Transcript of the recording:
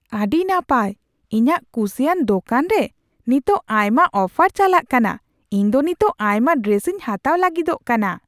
ᱟᱹᱰᱤ ᱱᱟᱯᱟᱭ ! ᱤᱧᱟᱜ ᱠᱩᱥᱤᱭᱟᱱ ᱫᱳᱠᱟᱱ ᱨᱮ ᱱᱤᱛᱚᱜ ᱟᱭᱢᱟ ᱚᱯᱷᱟᱨ ᱪᱟᱞᱟᱜ ᱠᱟᱱᱟ ᱾ ᱤᱧ ᱫᱚ ᱱᱤᱛᱚᱜ ᱟᱭᱢᱟ ᱰᱨᱮᱥᱤᱧ ᱦᱟᱛᱟᱣ ᱞᱟᱹᱜᱤᱫᱚᱜ ᱠᱟᱱᱟ ᱾